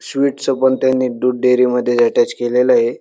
Sweet च पण त्यांनी दूध डेरी मध्ये अट्याच केलेलं ये.